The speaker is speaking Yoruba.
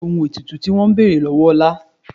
Kí ni ohun ètùtù tí wọn ń bèrè lọ́wọ́ Ọlá?